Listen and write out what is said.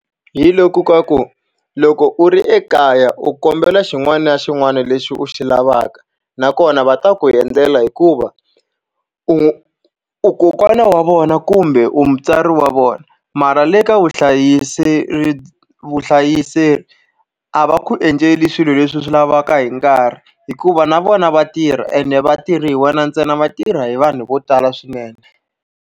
Hi loku ka ku, loko u ri ekaya u kombela xin'wana na xin'wana lexi u xi lavaka nakona va ta ku endlela hikuva u u kokwana wa vona kumbe u mutswari wa vona. Mara le ka vuhlayiseki a va ku endleli swilo leswi swi lavaka hi nkarhi hikuva na vona va tirha ene va tirhi hi wena ntsena, va tirha hi vanhu vo tala swinene.